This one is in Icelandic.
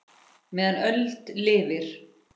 meðan öld lifir